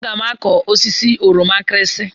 Aga m akụ osisi oroma nkirinsi.